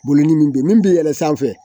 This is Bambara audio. Bolodimi don min bɛ yɛlɛn sanfɛ